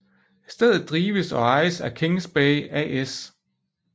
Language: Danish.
Stedet drives og ejes af Kings Bay AS